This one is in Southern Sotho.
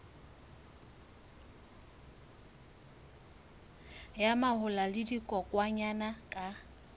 ya mahola le dikokwanyana ka